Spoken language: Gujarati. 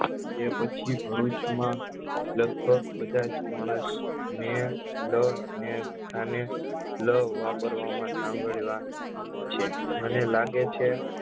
કે પછી ભરૂચ માં લગભગ બધા જ મોણસ ને લ ને કાને લ વાપરવા માં મને લાગે છે